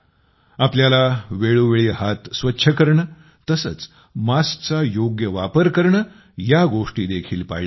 आपल्याला वेळोवेळी हात स्वच्छ करणे तसेच मास्कचा योग्य वापर करणे या गोष्टी देखील पाळल्या पाहिजेत